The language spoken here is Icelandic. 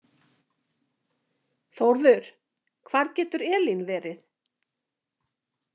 Þórður, hvar getur Elín verið?